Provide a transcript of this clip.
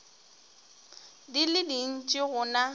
di le dintši go na